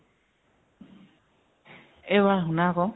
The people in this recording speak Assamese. এ বা শুনা আকৌ।